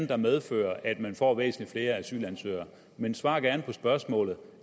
der medfører at man får væsentlig flere asylansøgere men svar gerne på spørgsmålet